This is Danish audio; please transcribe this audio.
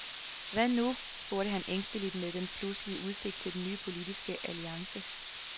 Hvad nu, spurgte han ængsteligt med den pludselige udsigt til en ny politisk alliance.